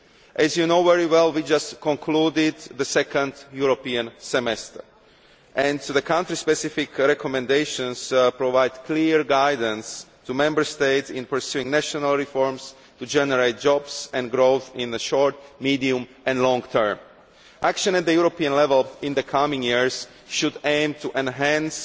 As you know very well, we have just concluded the second European semester, and the country specific recommendations provide clear guidance to Member States in pursuing national reforms to generate jobs and growth in the short, medium and long term. Action at European level in the coming years should aim to enhance